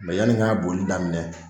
yanni n k'a bolili daminɛ